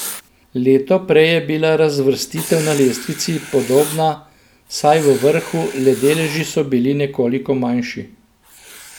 Leto prej je bila razvrstitev na lestvici podobna, vsaj v vrhu, le deleži so bili nekoliko manjši.